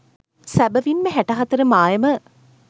සැබැවින් ම හැට හතර මායම